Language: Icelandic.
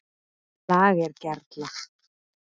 LAGER GERLA